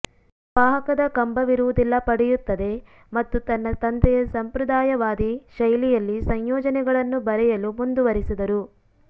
ವಾಹಕದ ಕಂಬವಿರುವುದಿಲ್ಲ ಪಡೆಯುತ್ತದೆ ಮತ್ತು ತನ್ನ ತಂದೆಯ ಸಂಪ್ರದಾಯವಾದಿ ಶೈಲಿಯಲ್ಲಿ ಸಂಯೋಜನೆಗಳನ್ನು ಬರೆಯಲು ಮುಂದುವರೆಸಿದರು